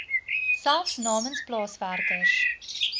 selfs namens plaaswerkers